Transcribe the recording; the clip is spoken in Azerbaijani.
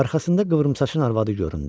Arxasında qıvrım saçın arvadı göründü.